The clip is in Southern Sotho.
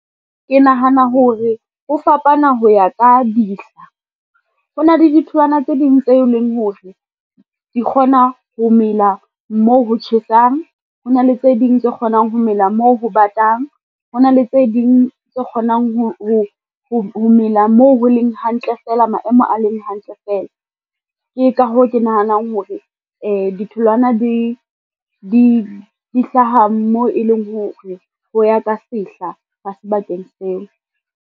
Ke nahana hore ho fapana ho ya ka dihla. Ho na le ditholwana tse ding tse leng hore di kgona ho mela moo ho tjhesang, ho na le tse ding tse kgonang ho mela mo ho batang, ho na le tse ding tse kgonang ho mela moo ho leng hantle fela maemo a leng hantle fela. Ke ka hoo, ke nahanang hore di ditholwana di hlaha mo e leng hore ho ya ka sehla hwa sebakeng seo.